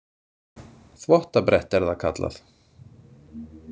Þvottabretti er það kallað.